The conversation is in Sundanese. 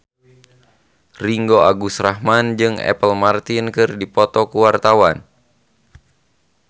Ringgo Agus Rahman jeung Apple Martin keur dipoto ku wartawan